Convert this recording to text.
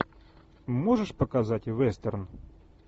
можешь показать вестерн